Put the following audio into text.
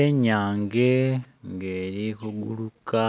Enyange nga eli kuguluka